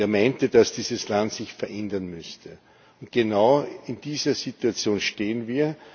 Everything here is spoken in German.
Er meinte, dass dieses Land sich verändern müsse. Genau in dieser Situation stehen wir.